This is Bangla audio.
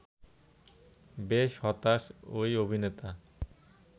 বেশ হতাশ ওই অভিনেতা